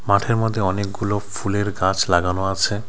মাঠের মধ্যে অনেকগুলো ফুলের গাছ লাগানো আছে।